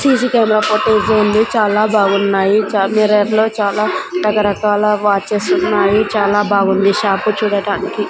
C C camera footage ఉంది చాలా బాగున్నాయి చ మిర్రర్ లో చాలా రకరకాల వాచెస్ ఉన్నాయి చాలా బాగుంది షాప్ చూడడానికి.